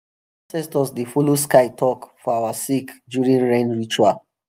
our ancestors dey follow sky talk for our sake during rain ritual.